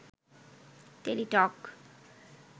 Teletalk